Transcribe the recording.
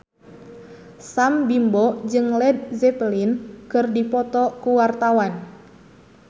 Sam Bimbo jeung Led Zeppelin keur dipoto ku wartawan